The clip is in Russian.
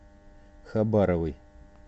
хабаровой